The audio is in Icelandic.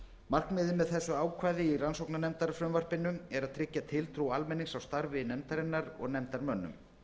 markmiðið með þessu ákvæði í rannsóknarnefndarfrumvarpi er að tryggja tiltrú almennings á starfi nefndarinnar og nefndarmönnum